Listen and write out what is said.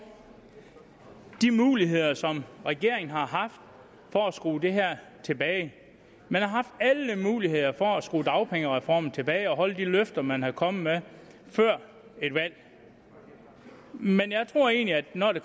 de muligheder som regeringen har haft for at skrue det her tilbage man har haft alle muligheder for at skrue dagpengereformen tilbage og holde de løfter man kom med før valget men jeg tror egentlig når det